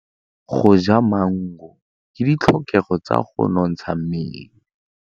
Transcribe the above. Go ja maungo ke ditlhokegô tsa go nontsha mmele.